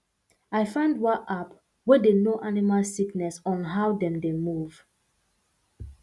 i find one app wey dey know animal sickness on how dem dey move